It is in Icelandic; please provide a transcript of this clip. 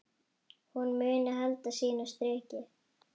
Hún muni halda sínu striki.